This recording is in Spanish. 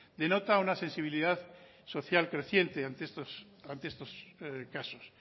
denota una sensibilidad social creciente ante estos casos